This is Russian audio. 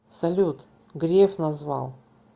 салют греф назвал